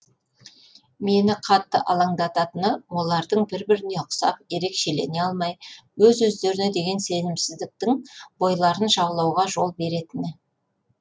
мені қатты алаңдататыны олардың бір біріне қусап ерекшелене алмай өз өздеріне деген сенімсіздіктің бойларын жаулауға жол беретіні